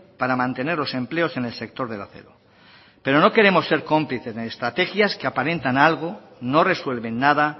para mantener los empleos en el sector del acero pero no queremos ser cómplices en estrategias que aparentan en algo no resuelven nada